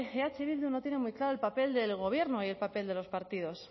eh bildu no tiene muy claro el papel del gobierno y el papel de los partidos